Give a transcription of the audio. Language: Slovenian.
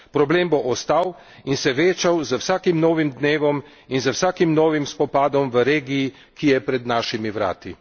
Problem bo ostal in se večal z vsakim novim dnevom in z vsakim novim spopadom v regiji, ki je pred našimi vrati.